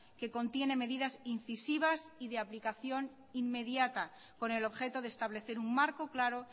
que contiene medidas incisivas y de aplicación inmediata con el objeto de establecer un marco claro